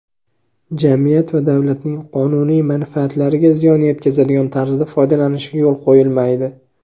jamiyat va davlatning qonuniy manfaatlariga ziyon yetkazadigan tarzda foydalanishiga yo‘l qo‘yilmaydi.